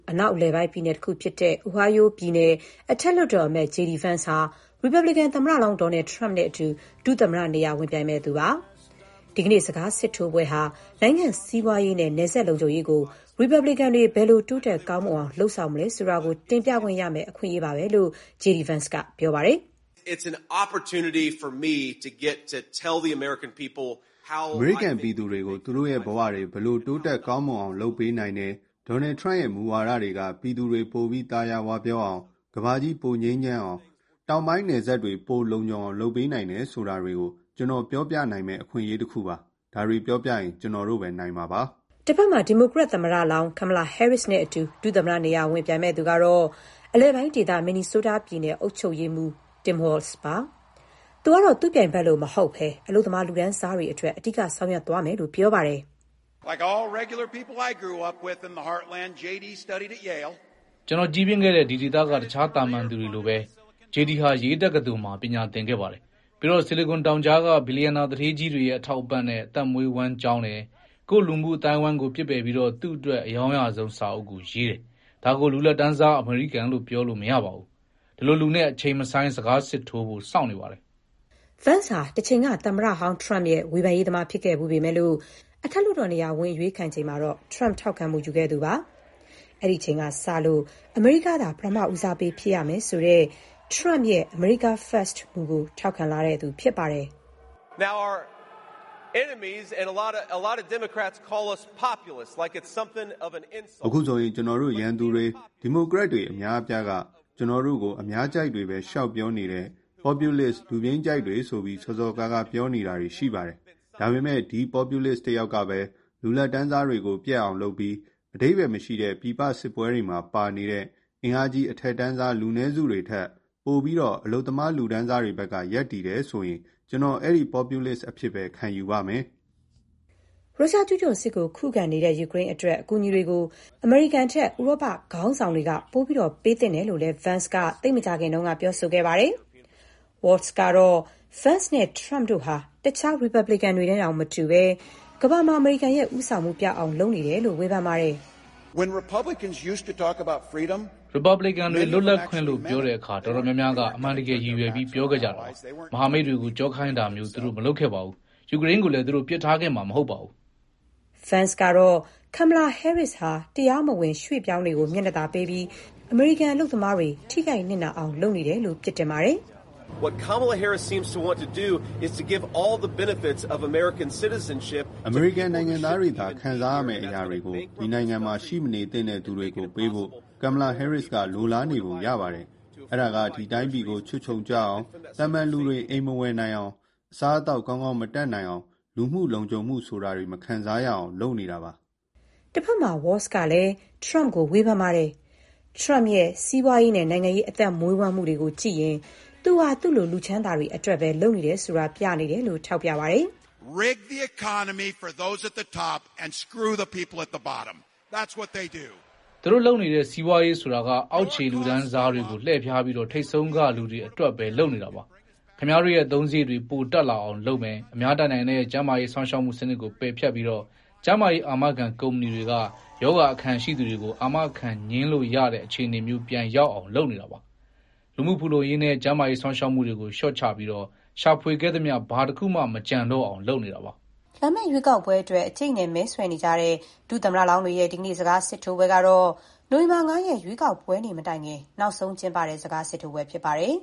အနောက် အလယ်ပိုင်းပြည်နယ်တခုဖြစ်တဲ့ Ohio ပြည်နယ် အထက်လွှတ်တော်အမတ် JD Vance ဟာ ရီပတ်ဘလစ်ကန်သမ္မတလောင်း Donald Trump နဲ့အတူ ဒုသမ္မတနေရာ ဝင်ပြိုင်မယ့်သူပါ။ ဒီကနေ့ စကားစစ်ထိုးပွဲဟာ နိုင်ငံ့စီးပွားရေးနဲ့ နယ်စပ်လုံခြုံရေးကို ရီပတ်ဘလစ်ကန်တွေ ဘယ်လို တိုးတက်ကောင်းမွန်အောင် လုပ်ဆောင်မလဲ ဆိုတာကို တင်ပြခွင့်ရမယ့် အခွင့်အလမ်းပါပဲလို့ JD Vance က ပြောပါတယ်။ "အမေရိကန်ပြည်သူတွေကို သူတို့ရဲ့ဘဝတွေ ဘယ်လို တိုးတက်ကောင်းမွန်အောင် လုပ်ပေးနိုင်တယ်။ Donald Trump ရဲ့ မူဝါဒတွေက ပြည်သူတွေ ပိုပြီး သာယာဝပြောအောင်၊ ကမ္ဘာကြီး ပိုငြိမ်းချမ်းအောင်၊ တောင်ပိုင်း နယ်စပ်တွေ ပို လုံခြုံအောင် လုပ်ပေးနိုင်တယ် ဆိုတာတွေကို ကျနော် ပြောပြနိုင်မယ့် အခွင့်အရေးတခုပါ။ ဒါတွေပြောပြရင် ကျနော်တို့ပဲ နိုင်မှာပါ။” တဘက်မှာ ဒီမိုကရက် သမ္မတလောင်း Kamala Harris နဲ့အတူ ဒုသမ္မတနေရာ ဝင်ပြိုင်မယ့်သူကတော့ အလယ်ပိုင်းဒေသ Minnesota ပြည်နယ် အုပ်ချုပ်ရေးမှူး Tim Walz ပါ။ သူကတော့ သူ့ ပြိုင်ဘက်လို မဟုတ်ဘဲ အလုပ်သမား လူလတ်တန်းစားတွေ အတွက် အဓိက ဆောင်ရွက်သွားမယ်လို့ ပြောပါတယ်။ “ကျနော် ကြီးပြင်းခဲ့တဲ့ ဒီဒေသက တခြား သာမန်လူတွေလိုပဲ JD ဟာ Yale တက္ကသိုလ်မှာ ပညာသင်ခဲ့ပါတယ်။ ပြီးတော့ ဆီလီကွန်တောင်ကြားက ဘီလျံနာ သူဌေးကြီးတွေရဲ့ အထောက်အပံ့နဲ့ အသက်မွေးဝမ်း ကျောင်းတယ်။ ကိုယ့်လူမှုအသိုင်းအဝိုင်းကို ပစ်ပယ်ပြီး သူ့အတွက် အရောင်းရဆုံး စာအုပ်ကို ရေးတယ်။ ဒါကို လူလတ်တန်းစား အမေရိကန်လို့ ပြောလို့မရပါဘူး။ ဒီလိုလူနဲ့ အချိန်မဆိုင်း စကားစစ်ထိုးဖို့ စောင့်နေပါတယ်။” Vance ဟာ တချိန်က သမ္မတဟောင်း Trump ရဲ့ ဝေဖန်ရေးသမား ဖြစ်ခဲ့ဖူးပေမဲ့ အထက်လွှတ်တော်နေရာ ဝင်အရွေးခံချိန်မှာတော့ Trump ထောက်ခံမှုယူခဲ့သူ ဖြစ်ပါတယ်။ အဲ့ဒီအချိန်ကစလို့ အမေရိကားသာ ပထမဦးစားပေး ဖြစ်ရမယ်ဆိုတဲ့ Trump ရဲ့ “America First” မူကို ထောက်ခံလာသူ ဖြစ်ပါတယ်။ "အခုဆိုရင် ကျနော်တို့ ရန်သူတွေ၊ ဒီမိုကရက်တွေ အများအပြားက ကျနော်တို့ကို အများအကြိုက်တွေပဲ လျှောက်ပြောနေတဲ့ populists လူပြိုန်းကြိုက်တွေ ဆိုပြီး စော်စော်ကားကား ပြောနေတာရှိပါတယ်။ ဒါပေမဲ့ ဒီ populist တယောက်ကပဲ − လူလတ်တန်းစားတွေကို ပျက်အောင်လုပ်ပြီး အဓိပ္ပါယ်မရှိတဲ့ ပြည်ပစစ်ပွဲတွေမှာ ပါနေတဲ့ အင်အားကြီး အထက်တန်းစား လူနည်းစုတွေထက် ပိုပြီး အလုပ်သမား လူတန်းစားတွေ ဘက်က ရပ်တည်တယ် ဆိုရင် ကျနော် အဲ့ဒီ populist အဖြစ်ပဲ ခံယူပါမယ်။” ရုရှား ကျူးကျော်စစ်ကို ခုခံနေတဲ့ ယူကရိန်း အတွက် အကူအညီတွေကို အမေရိကန်ထက် ဥရောပ ခေါင်းဆောင်တွေက ပိုပြီးတော့ ပေးသင့်တယ်လို့လည်း Vance က သိပ်မကြာခင်က ပြောဆိုခဲ့ပါတယ်။ Walz ကတော့ Vance နဲ့ Trump တို့ဟာ တခြား ရီပတ်ဘလစ်ကန်တွေနဲ့တောင် မတူဘဲ ကမ္ဘာမှာ အမေရိကန်ရဲ့ ဦးဆောင်မှု ပျောက်အောင် လုပ်နေတယ်လို့ ဝေဖန်ပါတယ်။ “ရီပတ်ဘလစ်ကန်တွေ လွတ်လပ်ခွင့်လို့ ပြောတဲ့အခါ အတော်များများက အမှန်တကယ် ရည်ရွယ်ပြီး ပြောခဲ့ကြတာပါ။ မဟာမိတ်တွေကို ကျောခိုင်းတာမျိုး သူတို့ မလုပ်ခဲ့ပါဘူး။ ယူကရိန်းကိုလည်း သူတို့ ပစ်ထားခဲ့မှာ မဟုတ်ပါဘူး။” Vance ကတော့ Kamala Harris ဟာ တရားမဝင် ရွှေ့ပြောင်းတွေကို မျက်နှာသာပေးပြီး အမေရိကန် အလုပ်သမားတွေ ထိခိုက် နစ်နာအောင် လုပ်နေတယ်လို့ ပြစ်တင်ပါတယ်။ “အမေရိကန်နိုင်ငံသားတွေသာ ခံစားရမယ့်အရာတွေကို ဒီနိုင်ငံမှာ ရှိမနေသင့်တဲ့ သူတွေကို ပေးဖို့ Kamala Harris က လိုလားနေပုံ ရပါတယ်။ အဲ့ဒါက ဒီတိုင်းပြည်ကို ချွတ်ခြုံကျအောင်၊ သာမန်လူတွေ အိမ်မဝယ်နိုင်အောင်၊ အစားအသောက် ကောင်းကောင်း မတတ်နိုင်အောင်၊ လူမှု လုံခြုံမှု ဆိုတာတွေ မခံစားရအောင် လုပ်နေတာပါ။” တဘက်မှာ Walz ကလည်း Trump ကိုဝေဖန်ပါတယ်။ Trump ရဲ့ စီးပွားရေး၊ နိုင်ငံရေး အသက်မွေးဝမ်းမှုတွေကို ကြည့်ရင် သူဟာ သူ့လို လူချမ်းသာတွေ အတွက်ပဲ လုပ်နေတယ်ဆိုတာ ပြနေတယ်လို့ ထောက်ပြပါတယ်။ "သူတို့လုပ်နေတဲ့ စီးပွားရေး ဆိုတာက အောက်ခြေ လူတန်းစားတွေကို လှည့်ဖျားပြီး ထိပ်ဆုံးက လူတွေအတွက်ပဲ လုပ်နေတာပါ။ ခင်ဗျားတို့ရဲ့ အသုံးစရိတ်တွေ ပို တက်လာအောင် လုပ်မယ်။ အများတတ်နိုင်တဲ့ ကျန်းမာရေး စောင့်ရှောက်မှုစနစ်ကို ပယ်ဖျက်ပြီး ကျန်းမာရေး အာမခံ ကုမ္ပဏီတွေက ရောဂါခံရှိသူတွေကို အာမခံငြင်းလို့ရတဲ့ အခြေအနေမျိုး ပြန်ရောက်အောင် လုပ်နေတာပါ။ လူမှုဖူလုံရေးနဲ့ ကျန်းမာရေး စောင့်ရှောက်မှုတွေကို လျှော့ချပြီး ရှာဖွေခဲ့သမျှ ဘာတခုမှ မကျန်တော့အောင် လုပ်နေတာပါ။” လာမယ့် ရွေးကောက်ပွဲအတွက် အကျိတ်အနယ် မဲဆွယ်နေကြတဲ့ ဒုသမ္မတလောင်းတွေရဲ့ ဒီကနေ့ စကားစစ်ထိုးပွဲ ကတော့ နိုဝင်ဘာလ ၅ ရက် ရွေးကောက်ပွဲနေ့ မတိုင်ခင် နောက်ဆုံးကျင်းပတဲ့ စကားစစ်ထိုးပွဲ ဖြစ်ပါတယ်